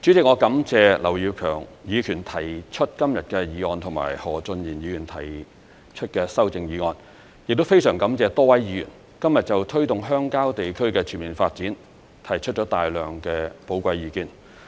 主席，我感謝劉業強議員提出今天的議案及何俊賢議員提出修正案，亦非常感謝多位議員今天就推動鄉郊地區的全面發展提出了大量的寶貴意見。